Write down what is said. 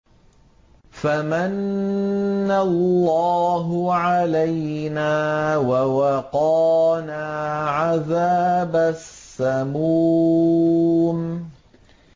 فَمَنَّ اللَّهُ عَلَيْنَا وَوَقَانَا عَذَابَ السَّمُومِ